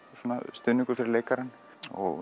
stuðningur fyrir leikarann og